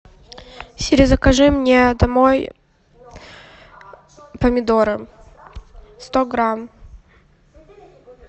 сири закажи мне домой помидоры сто грамм